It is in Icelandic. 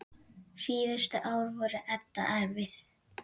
Síðustu ár voru Edda erfið.